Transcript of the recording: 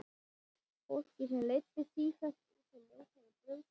Fólki sem leiddist sífellt út á ljótari brautir.